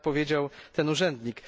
Tak powiedział ten urzędnik.